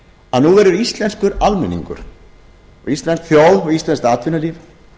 að nú verður íslenskur almenningur íslensk þjóð og íslenskt atvinnulíf